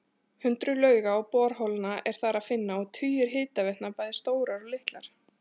Hundruð lauga og borholna er þar að finna og tugir hitaveitna, bæði stórar og litlar.